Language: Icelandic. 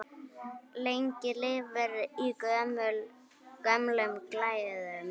Lengi lifir í gömlum glæðum!